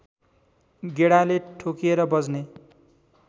गेडाले ठोकिएर बज्ने